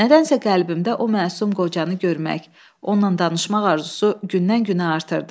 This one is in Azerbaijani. Nədənsə qəlbimdə o məsum qocanı görmək, onunla danışmaq arzusu gündən-günə artırdı.